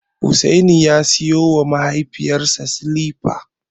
Hussaini ya siyowa mahaifinsa silifa.